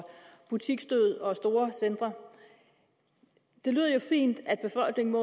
butiksdød og store centre det lyder jo fint at befolkningen